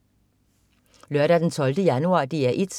Lørdag den 12. januar - DR 1: